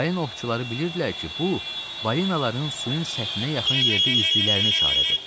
Balina ovçuları bilirdilər ki, bu, balinaların suyun səthinə yaxın yerdə üzdüklərinə işarədir.